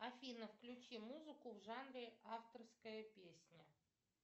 афина включи музыку в жанре авторская песня